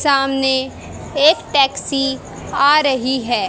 सामने एक टैक्सी आ रही है।